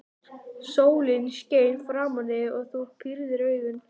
Sólin skein framan í þig og þú pírðir augun.